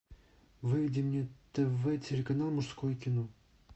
выведи мне тв телеканал мужское кино